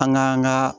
An ka an ka